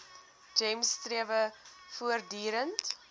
gems strewe voortdurend